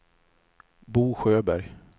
Bo Sjöberg